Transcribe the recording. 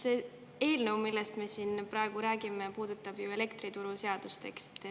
See eelnõu, millest me siin praegu räägime, puudutab ju elektrituruseadust, eks.